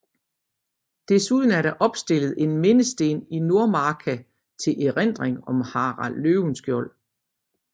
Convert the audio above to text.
Desuden er der opstillet en mindesten i Nordmarka til erindring om Harald Løvenskiold